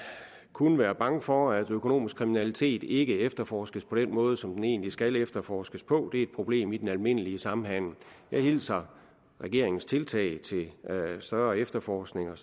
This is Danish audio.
kunne være bange for at økonomisk kriminalitet ikke efterforskes på den måde som den egentlig skal efterforskes på det er et problem i den almindelige samhandel jeg hilser regeringens tiltag til større efterforskning og